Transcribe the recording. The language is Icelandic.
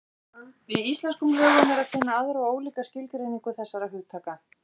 Í íslenskum lögum er að finna aðra og ólíka skilgreiningu þessara hugtaka.